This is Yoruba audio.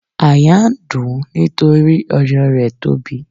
Àyà ń dùn ún nítorí ọyàn rẹ̀ tóbi.